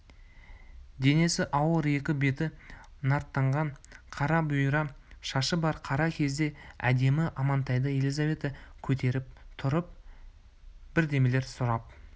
денесі ауыр екі беті нарттанған қара бұйра шашы бар қара көзді әдемі амантайды елизавета көтеріп тұрып бірдемелер сұрап